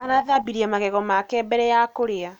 Arathambirie magego make mbere ya kũrĩa